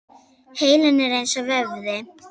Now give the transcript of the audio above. Heilinn er eins og vöðvi.